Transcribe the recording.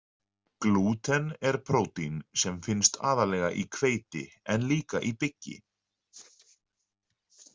Glúten er prótín sem finnst aðallega í hveiti en líka í byggi.